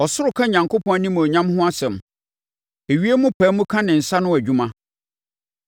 Ɔsoro ka Onyankopɔn animuonyam ho asɛm! Ewiem pae mu ka ne nsa ano adwuma,